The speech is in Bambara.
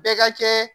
Bɛɛ ka kɛ